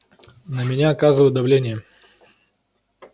на меня оказывают давление